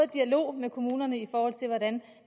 dialog med kommunerne i forhold til hvordan